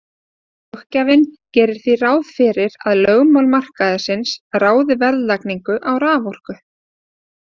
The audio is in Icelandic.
Löggjafinn gerir því ráð fyrir því að lögmál markaðarins ráði verðlagningu á raforku.